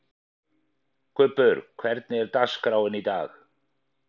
Kubbur, hvernig er dagskráin í dag?